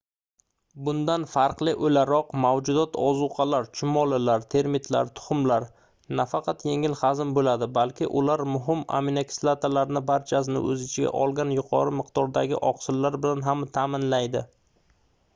bundan farqli o'laroq mavjudot ozuqalar chumolilar termitlar tuxumlar nafaqat yengil hazm bo'ladi balki ular muhim aminokislotalarning barchasini o'z ichiga olgan yuqori miqdordagi oqsillar bilan ham ta'minlaydi